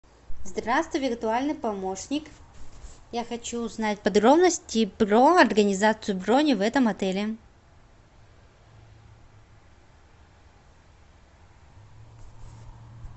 здравствуй виртуальный помощник я хочу узнать подробности про организацию брони в этом отеле